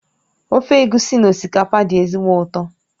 Ofe egusi na osikapa dị ezigbo ụtọ